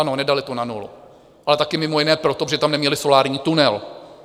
Ano, nedali to na nulu, ale taky mimo jiné proto, že tam neměli solární tunel.